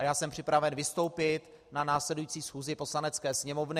A já jsem připraven vystoupit na následující schůzi Poslanecké sněmovny.